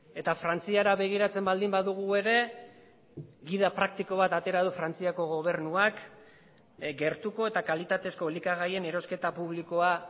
eta frantziara begiratzen baldin badugu ere gida praktiko bat atera du frantziako gobernuak gertuko eta kalitatezko elikagaien erosketa publikoa